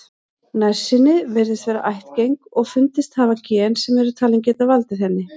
Nærsýni virðist vera ættgeng og fundist hafa gen sem eru talin geta valdið henni.